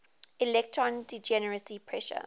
electron degeneracy pressure